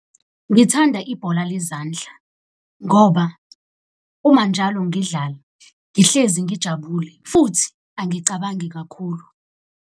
Ngithanda ibhola lezandla ngoba uma njalo ngidlala ngihlezi ngijabule, futhi angicabangi kakhulu.